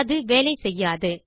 அது வேலை செய்யாது